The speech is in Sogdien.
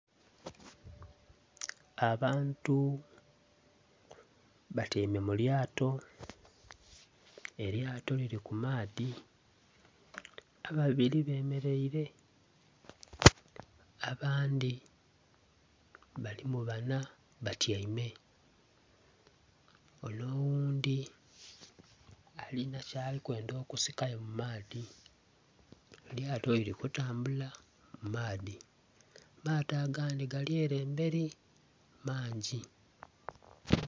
Abantu batyaime mu lyato, elyato lili ku maadhi ababili bemeleire, abandhi balimu banha batyaime. Onho oghundhi alina kyali kwenda okusikayo mu maadhi. Elyato lili kutambula mu maadhi, amaato agandhi gali ere mberi mangi.